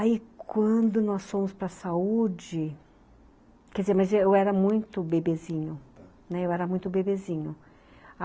Aí quando nós fomos para a saúde, quer dizer, mas eu era muito bebezinho, né, eu era muito bebezinho.